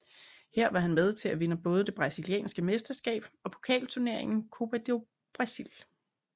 Her var han med til at vinde både det brasilianske mesterskab og pokalturneringen Copa do Brasil